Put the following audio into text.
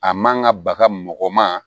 A man ka baga mɔgɔ ma